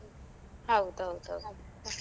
ಹೌದೌದೌದು.